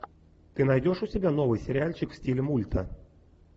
ты найдешь у себя новый сериальчик в стиле мульта